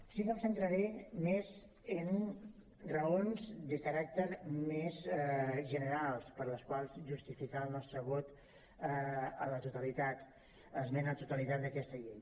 sí que em centraré més en raons de caràcter més general per les quals justificar el nostre vot a l’esmena a la totalitat d’aquesta llei